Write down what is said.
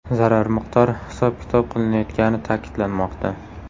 Zarar miqdori hisob-kitob qilinayotgani ta’kidlanmoqda.